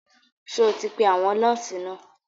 Ṣé o ti pe àwọn nọ́ọ̀sì náà?